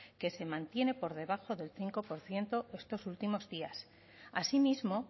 que se mantiene por debajo del cinco por ciento estos últimos días así mismo